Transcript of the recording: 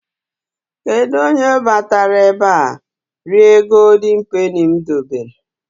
Kedụ onye batara ebe a rie Goldin Peni m debere?